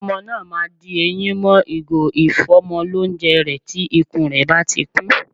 Ọmọ náà ma di eyín mọ́ ìgò ìfọ́mọlónjẹ rẹ̀ tí ikún rẹ̀ báti kún.